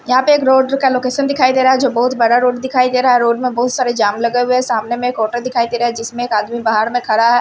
यहां पे एक रोड का लोकेशन दिखाई दे रहा है जो बहुत बड़ा रोड दिखाई दे रहा है रोड में बहुत सारे जाम लगे हुए हैं सामने में एक ऑटो दिखाई दे रहा है जिसमें एक आदमी बाहर में खड़ा है।